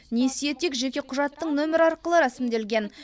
несие тек жеке құжаттың нөмірі арқылы рәсімделген